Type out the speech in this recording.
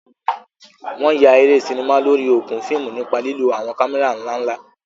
Wọn yà eré sinimá lórí okùn fíìmù nípa lílo àwọn kámẹ́rà ńlá ńlá.